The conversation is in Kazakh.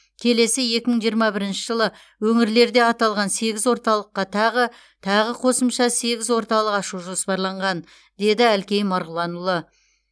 келесі екі мың жиырма бірінші жылы өңірлерде аталған сегіз орталыққа тағы тағы қосымша сегіз орталық ашу жоспарланған деді әлкей марғұланұлы